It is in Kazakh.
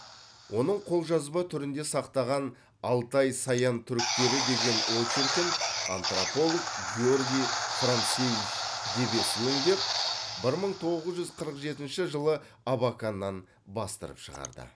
оның қолжазба түрінде сақталған алтай саян түріктері деген очеркін антрополог георгий францевич дебец өңдеп бір мың тоғыз жүз қырық жетінші жылы абаканнан бастырып шығарды